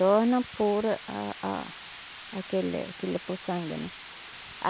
Torna por a a aquele, aquele puçanga, né?